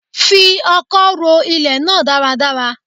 Fi ọkọ́ ro ilẹ̀ náà dáradára